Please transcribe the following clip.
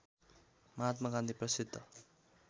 महात्मा गान्धी प्रसिद्ध